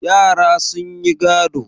Yara sun yi gado.